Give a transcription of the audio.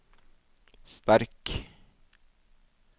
sterk